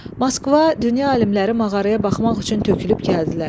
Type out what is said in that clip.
Moskva, dünya alimləri mağaraya baxmaq üçün tökülüb gəldilər.